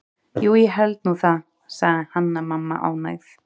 Jú, ég held nú það, sagði Hanna-Mamma ánægð.